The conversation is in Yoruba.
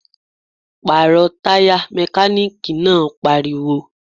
Pàrọ̀ Taya! Mekaniki náà pariwo